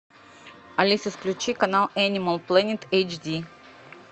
алиса включи канал энимал плэнет эйч ди